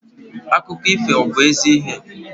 Akụkọ ifo ọ bu ezi ihe?